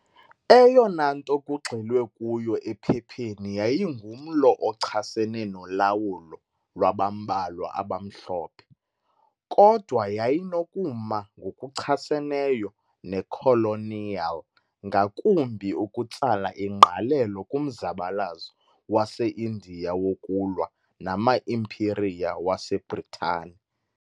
Eyona nto kugxilwe kuyo ephepheni yayingumlo ochasene nolawulo lwabambalwa abamhlophe, kodwa yayinokuma ngokuchaseneyo nekoloniyali, ngakumbi ukutsala ingqalelo kumzabalazo waseIndiya wokulwa nama-impiriya wase-Bhritane.